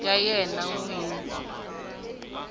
ya yena n wini ya